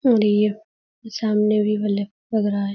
और ये सामने भी लग रहा है।